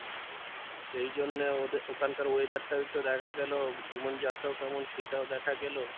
সেই জন্যে ওদের ওখানকার weather টাও একটু দেখা গেলো জীবন যাত্রাও কেমন সেটাও দেখা গেলো।